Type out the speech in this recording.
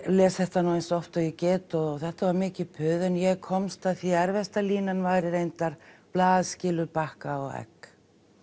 les þetta eins oft og ég get og þetta var mikið puð en ég komst að því að erfiðasta línan væri reyndar blað skilur bakka og egg